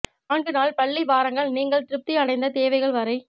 நான்கு நாள் பள்ளி வாரங்கள் நீங்கள் திருப்தி அடைந்த தேவைகள் வரை